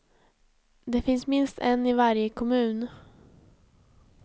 Det finns minst en i varje kommun.